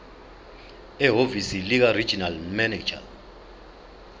ehhovisi likaregional manager